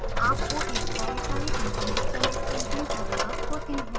आपको एक एक कार्यकारी इन्टरनेट कनेक्शन की जरुरत होती है